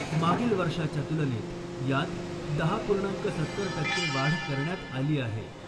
मागील वर्षाच्या तुलनेत यात दहा पूर्णांक सत्तर टक्के वाढ करण्यात आली आहे .